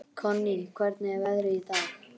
Konný, hvernig er veðrið í dag?